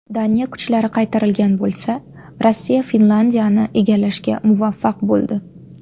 Daniya kuchlari qaytarilgan bo‘lsa, Rossiya Finlandiyani egallashga muvaffaq bo‘ldi.